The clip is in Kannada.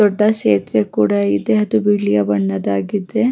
ದೊಡ್ಡ ಸೇತುವೆ ಕೂಡ ಇದೆ ಅದು ಬಿಳಿಯ ಬಣ್ಣದಾಗಿದೆ.